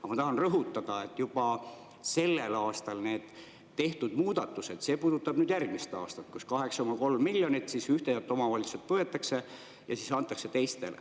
Aga ma tahan rõhutada, et juba sellel aastal tehtud muudatused puudutavad järgmist aastat, kui 8,3 miljonit ühtedelt omavalitsustelt võetakse ja siis antakse teistele.